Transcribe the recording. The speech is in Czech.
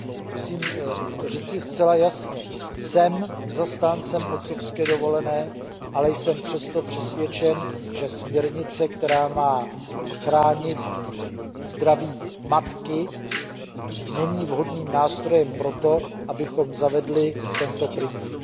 Musím říci zcela jasně, jsem zastáncem otcovské dovolené, ale jsem přesto přesvědčen, že směrnice, která má chránit zdraví matky, není vhodným nástrojem proto, abychom zavedli tento princip.